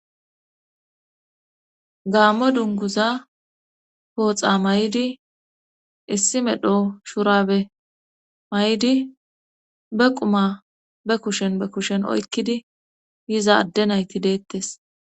Gaammo dunguza pooxa may'idi issi medho shurabe may'di be quma be kushen be kushen oykkidi yiza adde nayti deettes